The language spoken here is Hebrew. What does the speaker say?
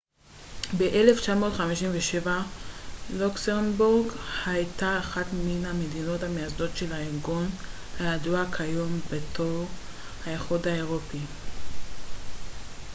ב-1957 לוקסמבורג הייתה אחת מן המדינות המייסדות של הארגון הידוע כיום בתור האיחוד האירופי